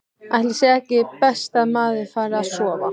Ætli sé ekki best að maður fari að sofa.